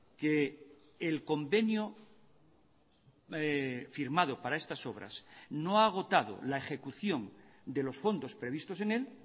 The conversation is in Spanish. que el convenio firmado para estas obras no ha agotado la ejecución de los fondos previstos en él